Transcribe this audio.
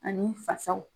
Ani fasaw